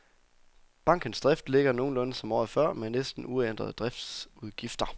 Bankens drift ligger nogenlunde som året før med næsten uændrede driftsudgifter.